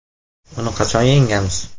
Uni qachon yengamiz?